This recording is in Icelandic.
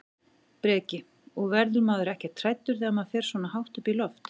Breki: Og verður maður ekkert hræddur þegar maður fer svona hátt upp í loft?